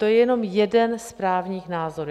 To je jenom jeden z právních názorů.